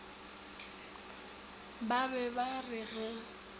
ba be ba re ge